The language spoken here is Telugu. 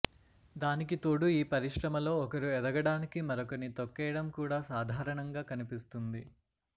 దానికి తోడు ఈ పరిశ్రమలో ఒకరు ఎదగడానికి మరొకరిని తొక్కేయడం కూడా సాధారణంగా కనిపిస్తుంది